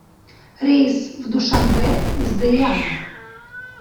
рейс в душанбе из дэяна